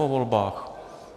Po volbách.